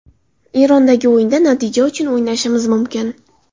Erondagi o‘yinda natija uchun o‘ynashimiz mumkin.